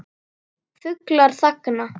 Fuglar þagna.